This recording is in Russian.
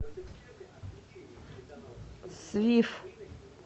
свиф